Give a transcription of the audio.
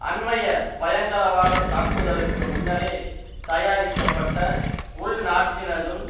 அண்மைய பயங்கரவாதத் தாக்குதலுக்கு முன்னரே தயாரிக்கப்பட்ட உள்நாட்டினதும்